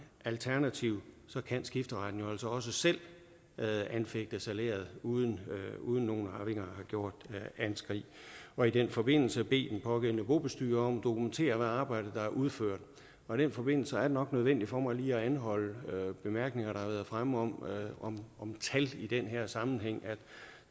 alternativt kan skifteretten jo altså også selv anfægte salæret uden uden nogen arvinger har gjort anskrig og i den forbindelse bede den pågældende bobestyrer om at dokumentere hvilket arbejde der er udført og i den forbindelse er det nok nødvendigt for mig lige at anholde bemærkninger der har været fremme om om tal i den her sammenhæng